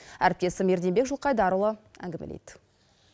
әріптесім ерденбек жылқайдарұлы әңгімелейді